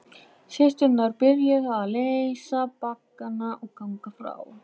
Systurnar byrjuðu að leysa baggana og ganga frá.